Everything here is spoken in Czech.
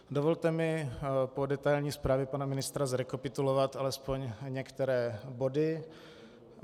Dovolte mi po detailní zprávě pana ministra zrekapitulovat alespoň některé body.